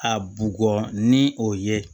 A bugɔ ni o ye